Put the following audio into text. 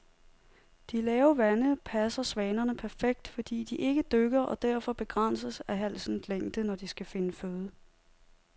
De lave vande passer svanerne perfekt, fordi de ikke dykker og derfor begrænses af halsens længde, når de skal finde føde.